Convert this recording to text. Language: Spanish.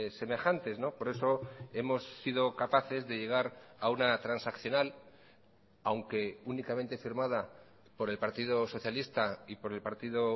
semejantes por eso hemos sido capaces de llegar a una transaccional aunque únicamente firmada por el partido socialista y por el partido